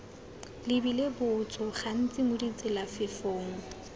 lebile botso gantsi mo ditselafefong